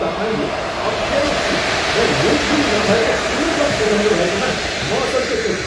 तपाईँले अप्ठेरो सिट र लेगरुम नभएको टुर बस सुझाउनुभएकोमा म असन्तुष्ट छु।